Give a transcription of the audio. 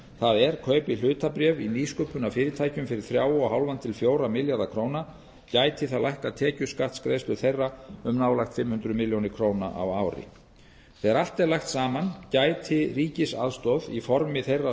það er kaupi hlutabréf í nýsköpunarfyrirtækjum fyrir þrjú og hálft til fjögurra milljarða króna gæti það lækkað tekjuskattsgreiðslur þeirra um nálægt fimm hundruð milljóna króna á ári þegar allt er lagt saman gæti ríkisaðstoð í formi þeirra